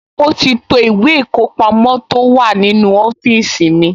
Ó ti to ìwé ìkọpamọ́ tó wà nínú ọ́fíìsì mi